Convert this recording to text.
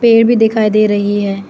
पेड़ भी दिखाई दे रही है।